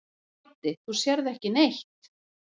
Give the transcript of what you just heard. Broddi: Þú sérð ekki neitt.